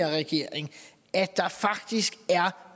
regering at der faktisk er